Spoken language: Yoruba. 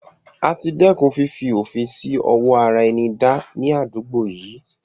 Àti dẹ́kun fifi òfin sì ọwọ ara ẹni dá ní àdúgbò yìí.